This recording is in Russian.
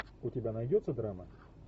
у тебя найдется драма